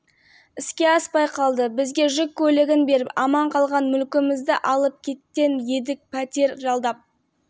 тұрамыз алғашқысында жарылыс жасаған үйдің иелері ай сайын мың теңге берді қазір ол да жоқ